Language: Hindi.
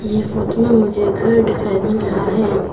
ये फोटो में मुझे घर दिखाई मिल रहा है।